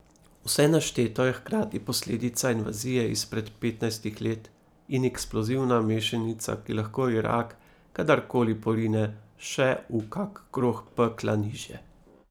Vse našteto je hkrati posledica invazije izpred petnajstih let in eksplozivna mešanica, ki lahko Irak kadar koli porine še v kak krog pekla nižje.